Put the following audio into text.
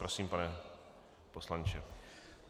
Prosím, pane poslanče.